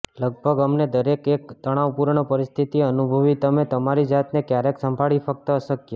લગભગ અમને દરેક એક તણાવપૂર્ણ પરિસ્થિતિ અનુભવી તમે તમારી જાતને ક્યારેક સંભાળી ફક્ત અશક્ય